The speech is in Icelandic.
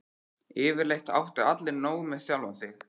Yfirleitt áttu allir nóg með sjálfa sig.